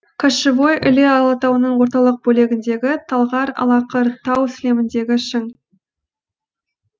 кошевой іле алатауының орталық бөлігіндегі талғар алақыр тау сілеміндегі шың